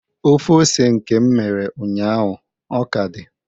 Ofe ose nke m mere ụnyaahụ ọ ka dị?